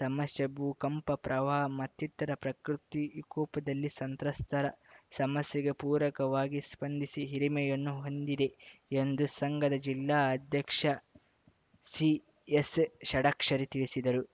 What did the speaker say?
ಸಮಸ್ಯೆ ಭೂಕಂಪ ಪ್ರವಾಹ ಮತ್ತಿತರ ಪ್ರಕೃತಿ ವಿಕೋಪದಲ್ಲಿ ಸಂತ್ರಸ್ತರ ಸಮಸ್ಯೆಗೆ ಪೂರಕವಾಗಿ ಸ್ಪಂದಿಸಿ ಹಿರಿಮೆಯನ್ನು ಹೊಂದಿದೆ ಎಂದು ಸಂಘದ ಜಿಲ್ಲಾ ಅಧ್ಯಕ್ಷ ಸಿಎಸ್‌ ಷಡಾಕ್ಷರಿ ತಿಳಿಸಿದರು